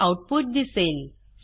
हे आऊटपुट दिसेल